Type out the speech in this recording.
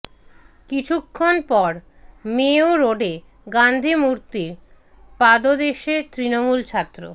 কিছুক্ষণ পর মেয়ো রোডে গান্ধী মূর্তির পাদদেশে তৃণমূল ছাত্র